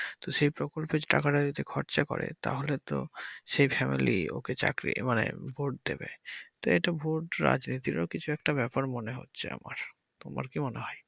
তো সেই প্রকল্পের টাকা টা দিতে খরচা করে তাহলে তো সেই family ও কে চাকরি মানে ভোট দেবে তো এটা ভোট রাজনীতিরও কিছু একটা ব্যাপার মনে হচ্ছে আমার তোমার কি মনে হয়?